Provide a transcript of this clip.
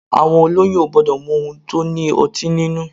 Àwọn olóyún ò gbọdọ̀ mu ohun tó ní ọtí nínú.